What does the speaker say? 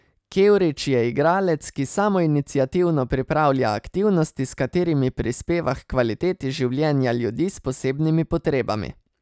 Kevrić je igralec, ki samoiniciativno pripravlja aktivnosti, s katerimi prispeva h kvaliteti življenja ljudi s posebnimi potrebami.